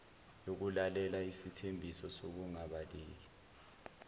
yokulalela isithembiso sokungabaleki